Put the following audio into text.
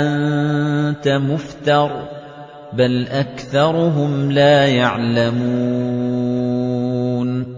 أَنتَ مُفْتَرٍ ۚ بَلْ أَكْثَرُهُمْ لَا يَعْلَمُونَ